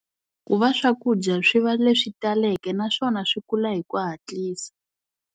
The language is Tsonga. Ku va swakudya swi va leswi taleke naswona swi kula hi ku hatlisa.